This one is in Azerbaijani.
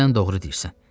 Sən doğru deyirsən.